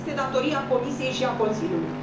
Asta este datoria Comisiei și a Consiliului.